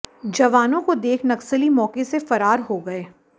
जवानों को देख नक्सली मौके से फरार हो गए